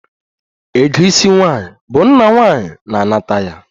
Ego isi nwaanyi bụ nna nwaanyi na-anata ya